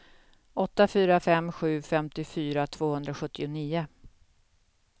åtta fyra fem sju femtiofyra tvåhundrasjuttionio